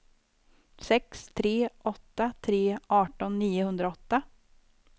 sex tre åtta tre arton niohundraåtta